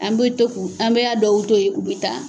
An bɛ to k'u ,an b'a dɔw to yen u bɛ taa.